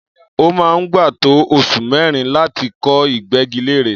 Ó máa ń gbà tó oṣù mẹ́rin láti kọ ìgbẹ́gilére.